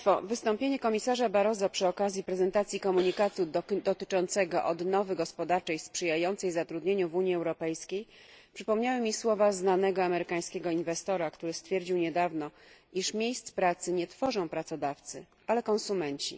Wystąpienie komisarza Barroso przy okazji prezentacji komunikatu dotyczącego odnowy gospodarczej sprzyjającej zatrudnieniu w Unii Europejskiej przypomniało mi słowa znanego amerykańskiego inwestora, który stwierdził niedawno, że miejsc pracy nie tworzą pracodawcy, ale konsumenci.